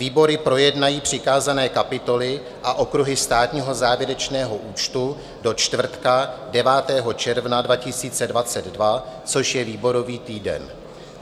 Výbory projednají přikázané kapitoly a okruhy státního závěrečného účtu do čtvrtka 9. června 2022 - což je výborový týden.